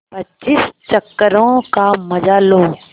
पच्चीस चक्करों का मजा लो